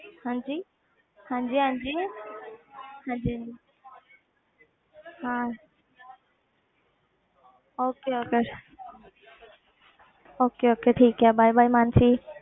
ਹਾਂਜੀ ਹਾਂਜੀ ਹਾਂਜੀ ਹਾਂਜੀ ਹਾਂ okay okay okay okay ਠੀਕ ਹੈ bye bye ਮਾਨਸੀ